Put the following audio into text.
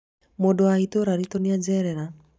mũndũ wa itũra riĩtũ nĩ ajerera